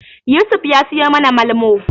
Yusuf ya suyi mana Malmo.